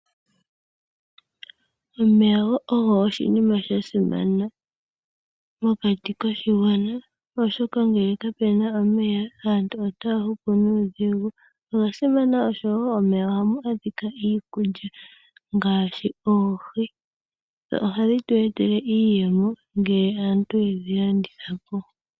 Omeya ogo oshinima sha simana mokati koshigwana oshoka uuna kaape na omeya aantu otaya hupu nuudhigu noga simana wo oshoka momeya ohamu adhika iikulya ngaashi oohi ndhono hadhi tu etele iiyemo uuna aantu yedhi landithapo.